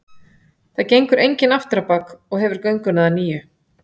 Það gengur enginn aftur á bak og hefur gönguna að nýju.